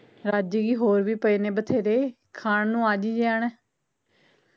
ਰੱਜ ਗਯੀ ਹੋਰ ਵੀ ਪਏ ਨੇ ਵਥੇਰੇ ਖਾਣ ਨੂੰ ਆਜੀ ਜੇ ਆਉਣਾ